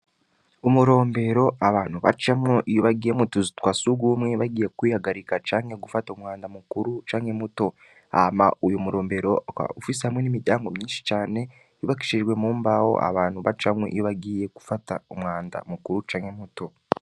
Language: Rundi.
Umurombero abantu bacamwo ibagiye mutuzu twa si ugumwe bagiye kwihagarika canke gufata umwanda mukuru canke muto ama uyu murombero ufise hamwe n'imiryango myinshi cane bibakishijwe mu mbawo abantu bacamwo ibbagiye gufata umwanda mukuru canke muto.